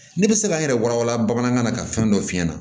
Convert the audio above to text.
Ne bɛ se ka n yɛrɛ walawala bamanankan na ka fɛn dɔ f'i ɲɛna